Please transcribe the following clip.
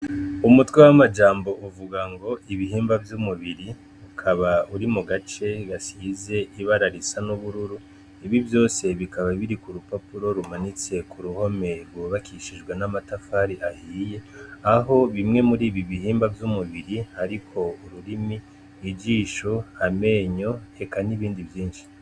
Umutwe w'amajambo uvuga ngo ibihimba vy'umubiri ukaba uri mugace kasize ibara risa n'ubururu ibi vyose bikaba biri kurupapuro rumanitse kuruhome rwubakishijwe namatafari ahiye aho bimwe muribi bihimba vy'umubiri hariko ururimi, ijisho amenyo eka n'ibindi vyinshi.